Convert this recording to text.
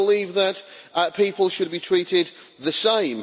We believe that people should be treated the same.